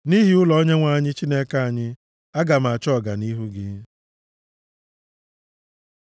Nʼihi ụlọ Onyenwe anyị, Chineke anyị, aga m achọ ọganihu gị.